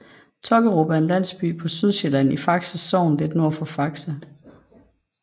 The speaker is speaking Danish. Tokkerup er en landsby på Sydsjælland i Faxe Sogn lidt nord for Faxe